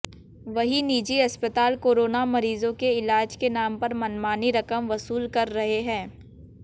वहीं निजी अस्पताल कोरोना मरीजों के इलाज के नाम पर मनमानी रकम वसूल रहे हैं